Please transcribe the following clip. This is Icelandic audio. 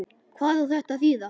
Hvað á þetta að þýða!